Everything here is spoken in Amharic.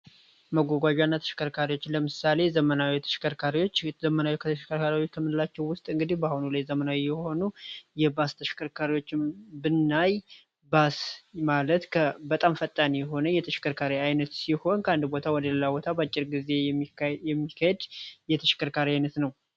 መጓጓዣና ተሽከርካሪዎች ለምሳሌ ተሽከርካሪዎች ዘመናዊ ተሽከርካሪዎች ከምንላቸው ውስጥ አሁን ላይ ዘመናዊ የሆኑ እናም በስ ማለት በጣም ፈጣን ተሽከርካሪ ሲሆን ከአንድ ቦታ ወደሌላ ቦታ የሚየካሄድ የተሽከርካሪ አይነት ነው።